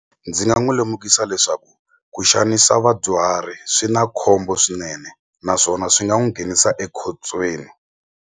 Ndzi nga n'wi lemukisa leswaku ku xanisa vadyuhari swi na khombo swinene naswona swi nga n'wi nghenisa ekhotsweni.